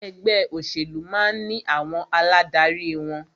Ẹgbẹ́ òṣèlú máà ní àwọn aládarí wọn.